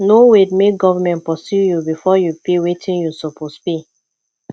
no wait make government pursue you before you pay wetin you suppose pay